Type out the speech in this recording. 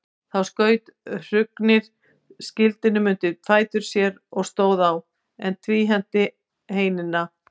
Þá skaut Hrungnir skildinum undir fætur sér og stóð á, en tvíhenti heinina.